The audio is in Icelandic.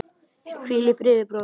Hvíl í friði, bróðir.